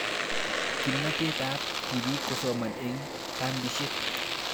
Kimnatet ab tipik kosoman eng' kambishek